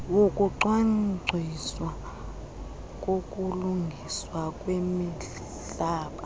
wokucwangciswa kokulungiswa kwemihlaba